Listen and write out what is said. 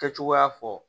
Kɛcogoya fɔ